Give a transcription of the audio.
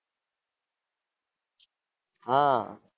હાં